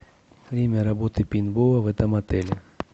время работы пейнтбола в этом отеле